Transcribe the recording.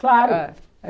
Claro.